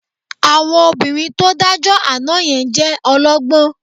Àwọn obìnrin tó dájọ́ àná yẹn jẹ́ ọlọ́gbọ́n